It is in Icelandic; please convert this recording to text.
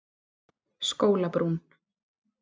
Skólabrún